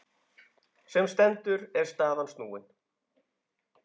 Sem stendur er staðan snúin.